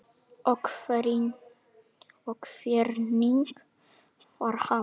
Og hvernig var hann?